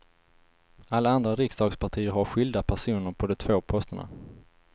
Alla andra riksdagspartier har skilda personer på de två posterna.